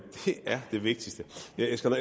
jeg skal